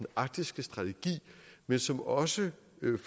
arktiske strategi men som også